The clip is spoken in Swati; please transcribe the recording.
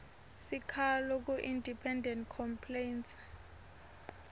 sikhalo kuindependent complaints